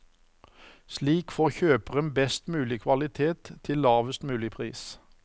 Slik får kjøperen best mulig kvalitet til lavest mulig pris.